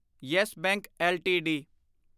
yes Bank LTD